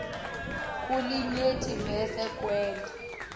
kulinyenti bese kwenta